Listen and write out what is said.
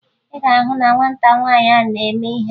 Ị ga-ahụ na nwata nwaanyị ahụ na-eme ihere